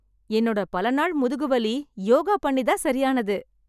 என்னோட பலநாள் முதுகு வலி யோகா பண்ணி தான் சரியானது.